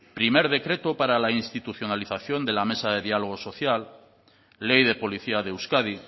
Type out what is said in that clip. primer decreto para la institucionalización de la mesa de diálogo social ley de policía de euskadi